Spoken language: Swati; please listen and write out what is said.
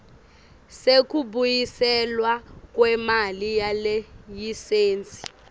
sekubuyiselwa kwemali yelayisensi